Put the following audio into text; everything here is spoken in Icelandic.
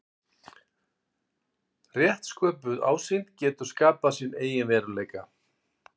Rétt sköpuð ásýnd getur skapað sinn eigin veruleika.